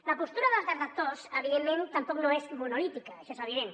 la postura dels detractors evidentment tampoc no és monolítica això és evident